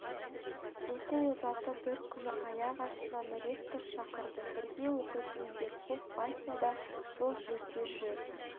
оқу озаты бір күні аяқ астынан ректор шақырды бірге оқитын верхов вася да сол жерде жүр